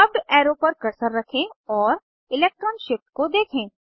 curved arrow पर cursor रखें और इलेक्ट्रान शिफ्ट को देखें